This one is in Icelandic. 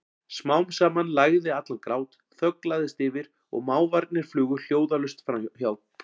Smám saman lægði allan grát, þögn lagðist yfir og máfarnir flugu hljóðalaust hjá.